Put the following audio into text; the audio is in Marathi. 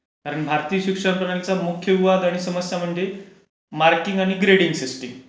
कारण भारतीय शिक्षण Voice not clear मार्किंग आणि ग्रेडिंग सिस्टम...